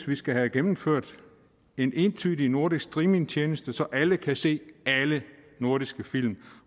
vi skal have gennemført en entydig nordisk streamingtjeneste så alle kan se alle nordiske film